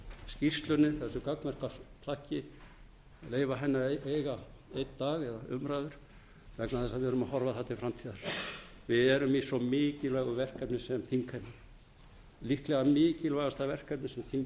skýrslunni þessu gagnmerka plaggi að eiga einn dag eða umræður vegna þess að við erum að horfa þar til framtíðar við erum í svo mikilvægu verkefni sem þingheimur líklega mikilvægasta verkefni sem þingið hefur staðið